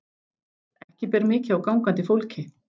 Ekki ber mikið á gangandi fólki.